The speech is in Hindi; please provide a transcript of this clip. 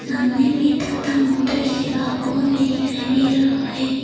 सामने में टाटा मोटर्स लिखा हुआ दिखाई दे रहा है।